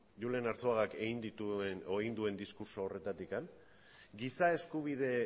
julen arzuagak egin duen diskurtso horretatik giza eskubide